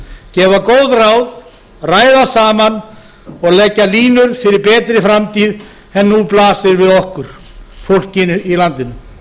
gefa góð ráð ræða saman og leggja línur fyrir betri framtíð en nú blasir við okkur fólkinu í landinu